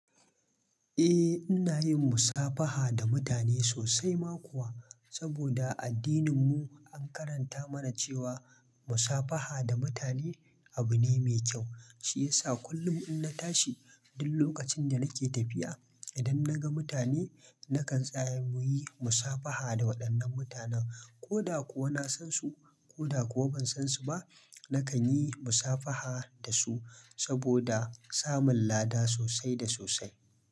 Eh, ina yin musafaha da mutane sosai ma kuwa, saboda addininmu an karanta mana cewa musafaha da mutane abu ne mai kyau. Shi yasa kullum in na tashi, duk lokacin da nake tafiya, idan na ga mutane, nakan tsaya mu yi musafaha da waɗannan mutanen. Ko da kuwa na san su, ko da kuwa ban san su ba, nakan yi musafaha da su saboda samun lada sosai da sosai.